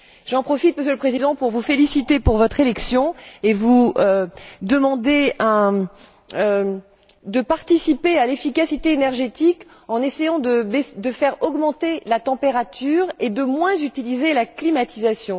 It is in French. J'en profite, Monsieur le Président, pour vous féliciter pour votre élection et vous demander de contribuer à l'efficacité énergétique en essayant de faire augmenter ici la température et de moins utiliser la climatisation.